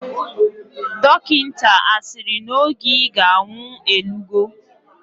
Dokita asiri na oge iga anwu elugo?